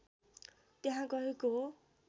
त्यहाँ गएको हो